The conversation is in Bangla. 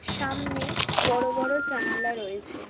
সামনে বড় বড় জানালা রয়েছে।